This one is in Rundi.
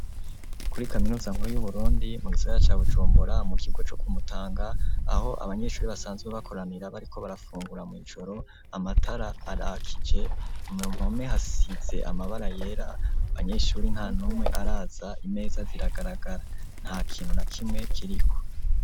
Kuri Kaminuza nkuru yu Burundi mu Gisagara ca Bujumbura mu kigo co ku Mutanga aho abanyeshuri basanze bakoranira bariko barafungura mw'ijoro amatara arakije mu mpome hasitse amabara yera banyeshuri nta ntumwe araza imeza ziragaragara nta kintu na kimwe kiriko.